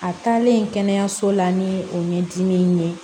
A taalen kɛnɛyaso la ni o ɲɛdimi ye